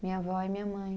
Minha vó e minha mãe.